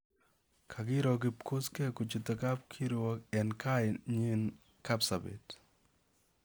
Kokiroo Kipkosgei kochuute kapkirwook eng' kaainyi Kapsaabet